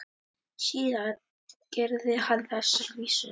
Síðar gerði hann þessar vísur